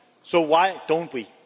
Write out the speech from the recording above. So why don't we?